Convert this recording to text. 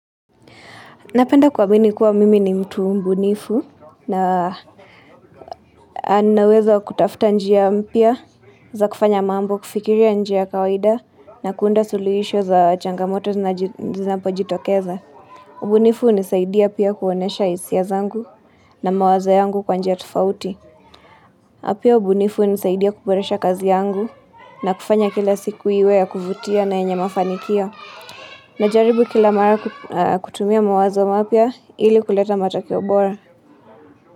Napenda kuamini kuwa mimi ni mtu mbunifu na nawezo kutafta njia mpya za kufanya mambo kufikiri ya nje kawaida na kuunda suluhisho za changamoto na zinapojitokeza. Ubunifu hunisaidia pia kuonyesha hisia zangu na mawaza yangu kwa njia tofauti. Na pia ubunifu hunisaidia kuboresha kazi yangu na kufanya kila siku iwe ya kuvutia na yenye mafanikio Najaribu kila mara kutumia mawazo mapya ili kuleta matokeo obora.